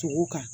Togo kan